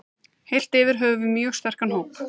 Heilt yfir höfum við mjög sterkan hóp.